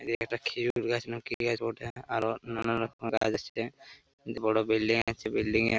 এটা একটা খেজুর গাছ না কি গাছ বঠে আরও নানা রকমের গাছ আছে বড় বিল্ডিং আছে বিল্ডিং -এ --